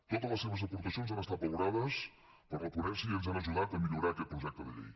totes les seves aportacions han estat valorades per la ponència i ens han ajudat a millorar aquest projecte de llei